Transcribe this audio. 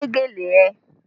Wé gèlè ẹ!